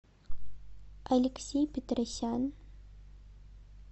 алексей петросян